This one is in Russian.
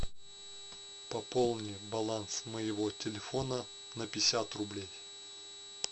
пополни баланс моего телефона на пятьдесят рублей